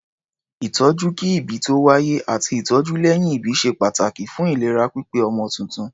Ìtọ́jú kí-ìbí-tó-wáyé àti ìtọ́jú lẹ́yìn-ìbí ṣe pàtàkì fún ìlera pípé ọmọ tuntun.